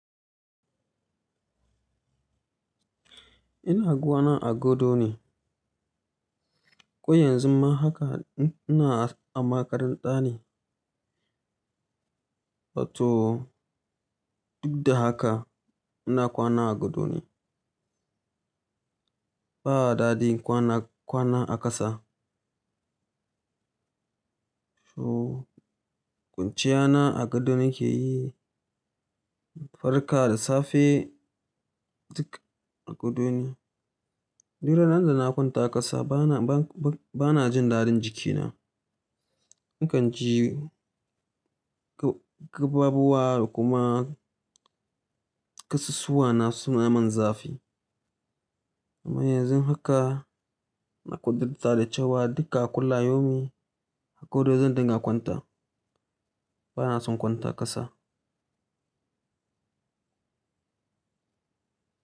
Ina kwana a gado ne. Ko yanzu ma haka ina a makaranta ne. To duk da haka ina kwana a gado ne. Ba a daɗin kwana, kwana a ƙasa. So kwanciyana a gado nake yi. Farka da safe duk a gado ne. Ni ranar da na kwanta ƙasa bana, ba, ba, bana jin daɗin jikina. Na kan ji ga, gaɓaɓuwa da kuma ƙasusuwana suna mun zafi. Amma yanzu haka na ƙudarta da kyau wa duk a kulla yaumin a gado zan dunga kwanta. Bana son kwanta ƙasa.